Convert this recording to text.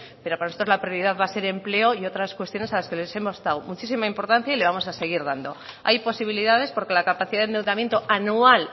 pero para nosotros la prioridad va a ser empleo y otras cuestiones a las que les hemos dado muchísima importancia y le vamos a seguir dando hay posibilidades porque la capacidad de endeudamiento anual